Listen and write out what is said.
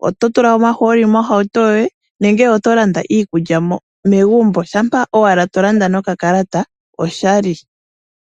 Kutya oto landa omahooli mohauto yoye nenge oto landa iikulya megumbo. Shampa ashike to landa noka kalata oshali.